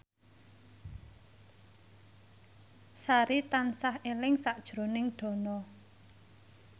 Sari tansah eling sakjroning Dono